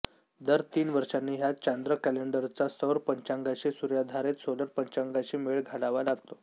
दर तीन वर्षांनी ह्या चांद्र कॅलेंडरचा सौर पंचांगाशी सूर्याधारित सोलर पंचांगाशी मेळ घालावा लागतो